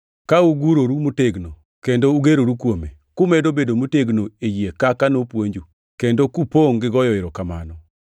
ka uguroru motegno kendo ugeroru kuome, kumedo bedo motegno e yie kaka nopuonju, kendo kupongʼ gigoyo erokamano.